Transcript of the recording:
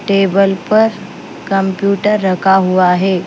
Table पर computer रखा हुआ है।